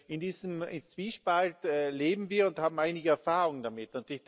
In diesem Zwiespalt leben wir und haben einige Erfahrung damit.